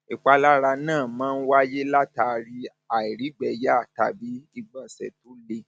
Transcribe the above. ìpalára náà máa ń wáyé látàri àìrígbẹẹyà tàbí ìgbọnsẹ tó le